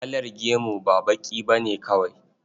Kalar gemu ba baƙi ba ne kawai.